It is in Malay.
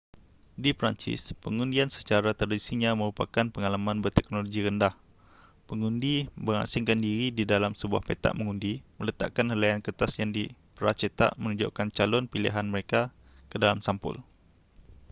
di perancis pengundian secara tradisinya merupakan pengalaman berteknologi rendah pengundi mengasingkan diri di dalam sebuah petak mengundi meletakkan helaian kertas yang dipracetak menunjukkan calon pilihan mereka ke dalam sampul